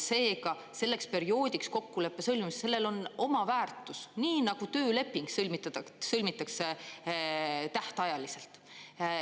Seega, selleks perioodiks kokkuleppe sõlmimisel on oma väärtus, nii nagu tööleping sõlmitakse tähtajaliselt.